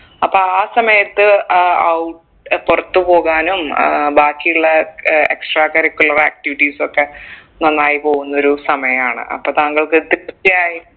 അപ്പൊ ആ സമയത്ത് ആഹ് ആവും പുറത്തു പോകാനും ഏർ ബാക്കിയുള്ള ഏർ extra curricular activities ഒക്കെ നന്നായി പോകുന്ന ഒരു സമയാണ് അപ്പൊ താങ്കൾക്ക് ഒരു തൃപ്തിയായി